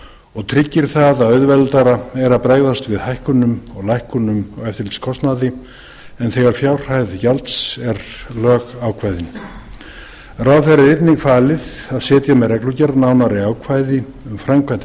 og tryggir það að auðveldara er að bregðast við hækkunum og lækkunum á eftirlitskostnaði en þegar fjárhæð gjalds er lögákveðin ráðherra er einnig falið að setja með reglugerð nánari ákvæði um framkvæmd